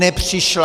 Nepřišla.